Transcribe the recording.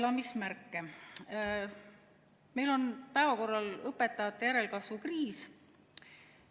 Samas on meil päevakorral õpetajate järelkasvu kriis.